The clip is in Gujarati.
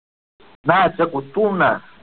ના ચકુ તું ના